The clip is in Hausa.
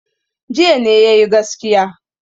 Jiya ne ya yi gaskiya.